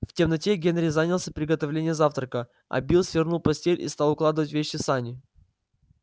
в темноте генри занялся приготовлением завтрака а билл свернул постель и стал укладывать вещи в сани